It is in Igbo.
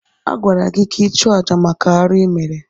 Agwara gị ka ị chụọ àjà maka arụ ịmere!